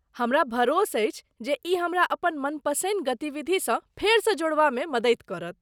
हमरा भरोस अछि जे ई हमरा अपन मनपसिन्न गतिविधिसँ फेरसँ जोड़बामे मददि करत।